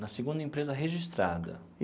Na segunda empresa registrada.